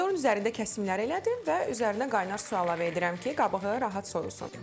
Pomidorun üzərində kəsimləri elədim və üzərinə qaynar su əlavə edirəm ki, qabığı rahat soyulsun.